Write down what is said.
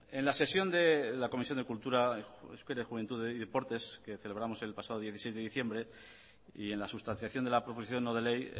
en la sesión de la comisión de cultura euskera juventud y deportes que celebramos el pasado dieciséis de diciembre y en la sustanciación de la proposición no de ley